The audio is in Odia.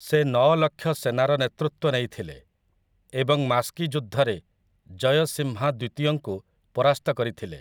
ସେ ନଅ ଲକ୍ଷ ସେନାର ନେତୃତ୍ୱ ନେଇଥିଲେ ଏବଂ ମାସ୍କି ଯୁଦ୍ଧରେ ଜୟସିମ୍‌ହା ଦ୍ୱିତୀୟଙ୍କୁ ପରାସ୍ତ କରିଥିଲେ ।